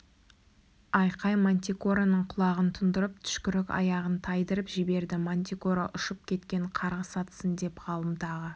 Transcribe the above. айқай мантикораның құлағын тұндырып түшкірік аяғын тайдырып жіберді мантикора ұшып кеткен қарғыс атсын деп ғалым тағы